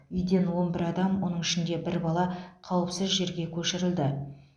үйден он бір адам оның ішінде бір бала қауіпсіз жерге көшірілді